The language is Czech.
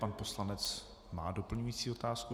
Pan poslanec má doplňující otázku.